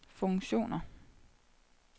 funktioner